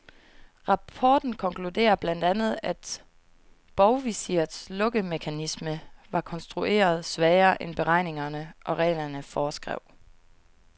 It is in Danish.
Rapporten konkluderer blandt andet, at bovvisirets lukkemekanisme var konstrueret svagere, end beregningerne og reglerne foreskrev.